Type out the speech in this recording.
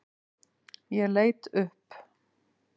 Ég leit upp.